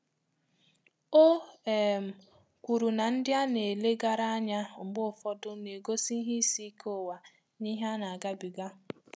Ọ um kwuru na ndị a na-ele gara anya mbge ụfọdụ na-egosi ìhè ịsị íké ụwa n' ìhè ana agabiga.